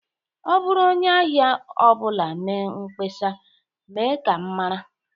Ọ bụrụ onye ahịa ọ bụla mee mkpesa, mee ka m mara